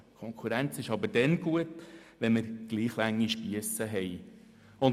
Konkurrenz ist aber dann gut, wenn wir gleich lange Spiesse haben.